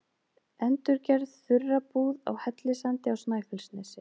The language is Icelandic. Endurgerð þurrabúð á Hellissandi á Snæfellsnesi.